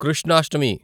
Krishnashtami